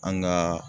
An ka